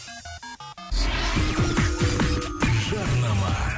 жарнама